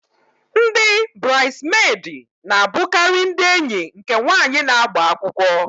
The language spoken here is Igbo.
Ndị burides medi na abukari ndị enyi nke nwanyị na-agba akwụkwọ